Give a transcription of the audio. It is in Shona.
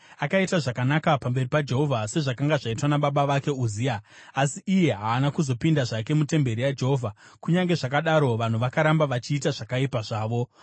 Akaita zvakanaka pamberi paJehovha sezvakanga zvaitwa nababa vake Uzia, asi iye haana kuzopinda zvake mutemberi yaJehovha. Kunyange zvakadaro, vanhu vakaramba vachiita zvakaipa zvavo.